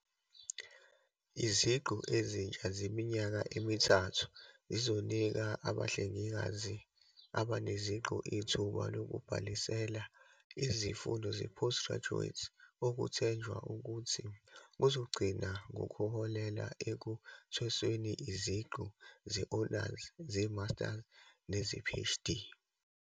"Iziqu ezintsha zeminyaka emithathu zizonika abahle ngikazi abaneziqu ithuba lokubhalisela izifundo ze-postgraduate, okwethenjwa ukuthi kuzogcina ngokuholela ekuthwesweni iziqu ze-honours, ze-masters neze-PhD."